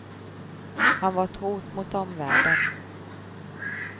Han var ett hot mot omvärlden.